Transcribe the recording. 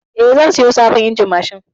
Eh, zan saya sabon injin mashin.